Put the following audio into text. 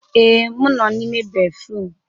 Ee, m nọ n'ime béfrụm.